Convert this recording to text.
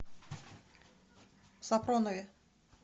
сапронове